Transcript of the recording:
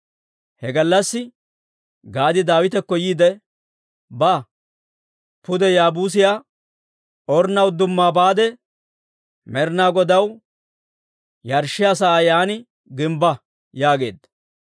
He gallassi Gaadi Daawitakko yiide, «Ba; pude Yaabuusiyaa Ornna udduma baade, Med'inaa Godaw yarshshiyaa sa'aa yaan gimbba» yaageedda.